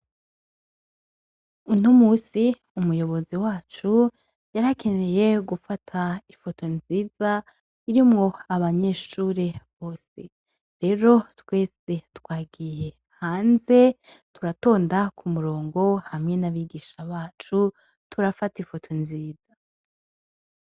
Untu musi umuyobozi wacu yarakeneye gufata ifoto nziza iri mwo abanyeshure bose rero twese twagiye hanze turatonda ku murongo hamwe n'abigisha bacu turafata ifoto nziza.